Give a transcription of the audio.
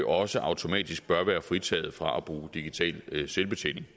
også automatisk bør være fritaget fra at bruge digital selvbetjening